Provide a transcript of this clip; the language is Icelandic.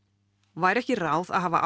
væri ekki ráð að hafa